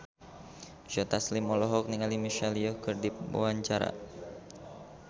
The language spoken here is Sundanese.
Joe Taslim olohok ningali Michelle Yeoh keur diwawancara